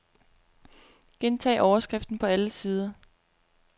Gentag overskriften på alle sider.